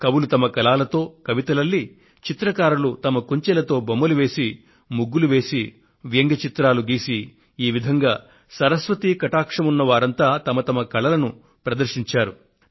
కవులు వారి కలాలతో కవితలు అల్లి చిత్రకారులు వారి కుంచెలతో బొమ్మలు వేసి ముగ్గులు వేసి వ్యంగ్య చిత్రాలను గీసి ఈ విధంగా సరస్వతీ కటాక్షం ఉన్న వారంతా తమ తమ కళలను ప్రదర్శించారు